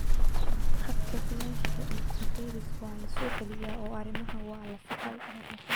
Khadka bilaashka ah ee coronavirus waa la soo celiyay oo arrimaha waa la saxay.